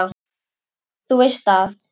Þú veist að.